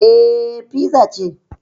Eh, fiza ce